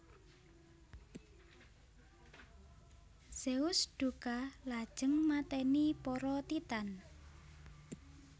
Zeus dukha lajeng mateni para Titan